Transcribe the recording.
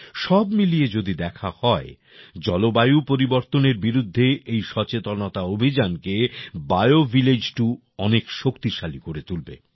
সব মিলিয়ে যদি দেখা হয় জলবায়ু পরিবর্তনের বিরুদ্ধে এই সচেতনতা অভিযান কে BioVillage2 অনেক শক্তিশালী করে তুলবে